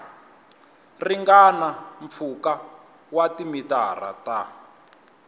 ringana mpfhuka wa timitara ta